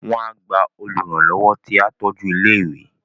Wọ́n á gba Olùrànlọ́wọ́ tí á tọ́jú ilé ìwé